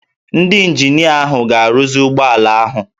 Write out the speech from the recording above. Ndị ịnjinịa ahụ ga-arụzi ụgbọ ala ahụ